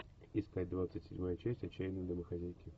искать двадцать седьмая часть отчаянные домохозяйки